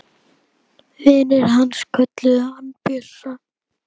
Vinir hans kölluðu hann Bjössa.